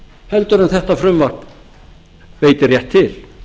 heldur en þetta frumvarp veitir rétt til